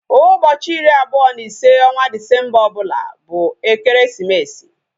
Ụbọchị iri abụọ na ise onwa Disemba ọbụla bụ ekeresimesi